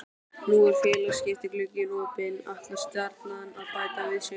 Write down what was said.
Nú er félagaskiptaglugginn opinn, ætlar Stjarnan að bæta við sig?